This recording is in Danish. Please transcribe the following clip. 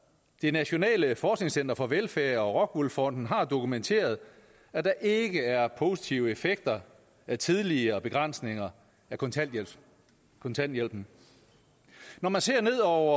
det nationale forskningscenter for velfærd og rockwool fonden har dokumenteret at der ikke er positive effekter af tidligere begrænsninger af kontanthjælpen kontanthjælpen når man ser ned over